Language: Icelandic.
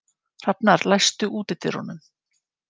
Hrafnar, læstu útidyrunum.